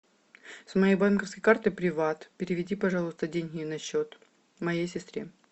с моей банковской карты приват переведи пожалуйста деньги на счет моей сестре